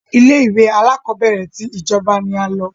Ilé ìwé alákọ̀berẹ̀ tí ìjọba ní a lọ.